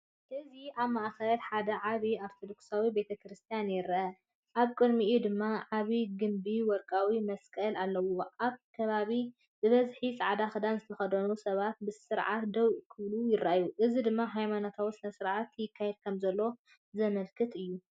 እዚ ኣብ ማእከል ሓደ ዓቢ ኦርቶዶክሳዊ ቤተክርስትያን ይርአ፣ ኣብ ቅድሚኡ ድማ ዓቢ ግምቢን ወርቃዊ መስቀልን ኣለዎ። ኣብቲ ከባቢ ብብዝሒ ጻዕዳ ክዳን ዝተኸድኑ ሰባት ብስርዓት ደው ክብሉ ይረኣዩ፡ እዚ ድማ ሃይማኖታዊ ስነ-ስርዓት ይካየድ ከምዘሎ ዘመልክት እዩ።